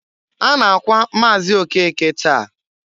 A na-akwa Maazi Okeke taa.